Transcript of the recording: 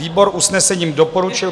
Výbor usnesením doporučil